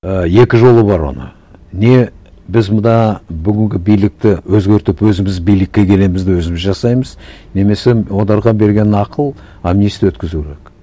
і екі жолы бар оны не біз мына бүгінгі билікті өзгертіп өзіміз билікке келеміз де өзіміз жасаймыз немесе оларға берген ақыл амнистия өткізу керек